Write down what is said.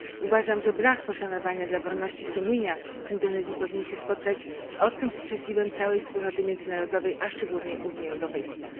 Uważam, że brak poszanowania dla wolności sumienia w Indonezji powinien się spotkać z ostrym sprzeciwem całej wspólnoty międzynarodowej, a szczególnie Unii Europejskiej.